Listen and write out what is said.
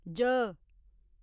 ज